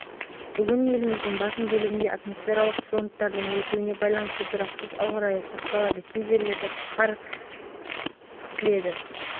оңтүстік облыстарда жауын-шашын болады кей аумақтарда жел күшейеді бұрқасын тұман көктайғақ болады бұл туралы қазгидромет